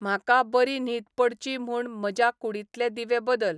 म्हाका बरी न्हीद पडची म्हूण म्हज्या कूडींतले दिवे बदल